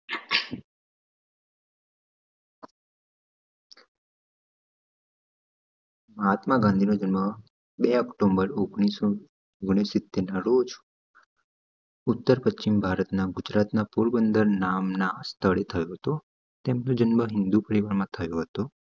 મહાત્મા ગાંધી નો જન્મ બે ઓક્ટોમ્બર રોજ ઉતાર પચ્છિમ ભારતના ગુજરાતના પોરબંદર નામ ના સ્થળે થયો તો તેમનો જન્મ થયોતો